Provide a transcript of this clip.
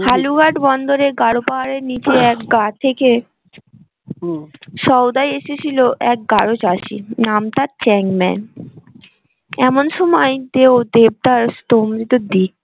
হালুয়াট বন্দরে গাড়ো পাহারের নীচে এক গাঁ থেকে সউদায় এসেছিল এক গাড়ো চাষী নাম তার চ্যাং ম্যান, এমন সময় তেও দেবদাস